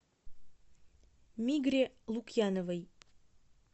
мигре лукьяновой